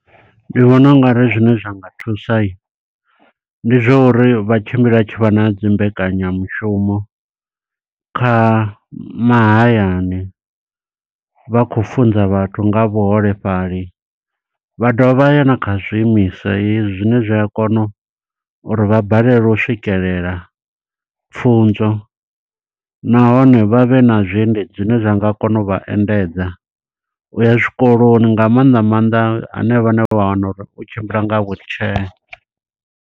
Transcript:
Ndi vhona ungari zwine zwa nga thusa, ndi zwa uri vha tshimbile vha tshivha na dzimbekanya mushumo kha mahayani. Vha khou funza vhathu nga ha vhuholefhali. Vha dovha vha ya na kha zwiimiswa hezwi zwine zwi a kono u uri vha balelwe u swikelela pfunzo. Nahone vha vhe na zwiendedzi zwine zwa nga kona u vha endedza, uya zwikoloni nga maanḓa maanḓa hanevha vha ne vha wana uri u tshimbila nga wheelchair.